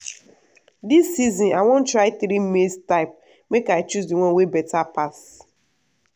this season i wan try three maize type make i choose the one wey better pass.